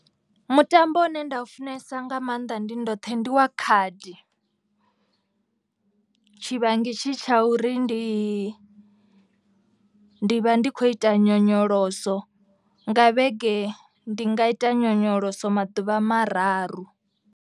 Mutambo une nda u funesa nga maanḓa ndi ndoṱhe ndi wa khadi. Tshivhangi tshi tsha uri ndi ndi vha ndi khou ita nyonyoloso. Nga vhege ndi nga ita nyonyoloso maḓuvha mararu.